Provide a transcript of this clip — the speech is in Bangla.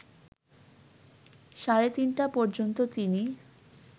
সাড়ে ৩টা পর্যন্ত তিনি